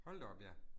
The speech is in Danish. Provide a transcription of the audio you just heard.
Hold da op ja